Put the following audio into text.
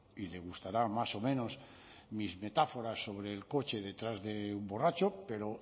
y le gustará más o menos mis metáforas sobre el coche detrás de un borracho pero